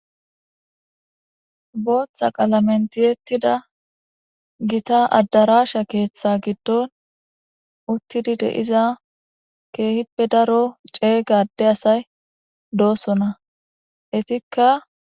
booththa qalamentiyettida gita addaraasha keeththe giddon uttidi deiza keehippe daro ceeygade asay doosona etikka